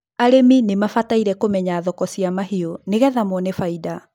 arĩmi nimabataire kũmenya thoko cia mahiũ nigetha mone faida